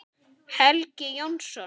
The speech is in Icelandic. Helgi Jónsson